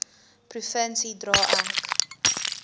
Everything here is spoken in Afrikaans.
provinsie dra ek